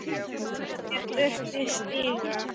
Ég þurfti stiga.